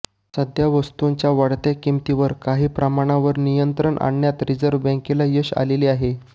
सध्या वस्तूंच्या वाढत्या किमतींवर काही प्रमाणावर नियंत्रण आणण्यात रिझर्व्ह बँकेला यश आलेले आहे